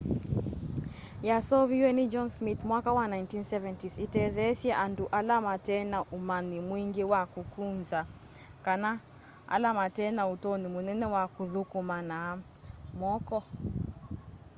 yasooviwe ni john smith mwaka wa 1970s itetheesye andu ala matena umanyi mwingi wa kukunza kana ala matena utonyi munene wa kuthukuma na moko